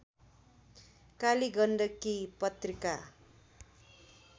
Kaligandaki Patrika